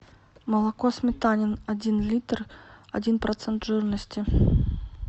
молоко сметанин один литр один процент жирности